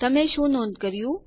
તમે શું નોંધ કર્યું160